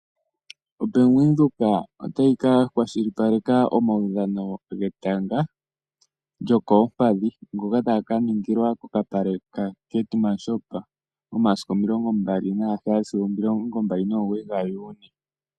OBank Windhoek otayi ka kwashilipaleka omawudhano getanga lyokoompadhi ngoka taga ka ningilwa kokapale kaKeetmanshoop momasiku omilongo mbali nagaheyali sigo omilongo mbali nomugoyi gaJuuni.